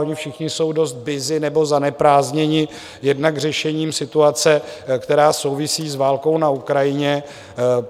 Oni všichni jsou dost busy nebo zaneprázdnění jednak řešením situace, která souvisí s válkou na Ukrajině.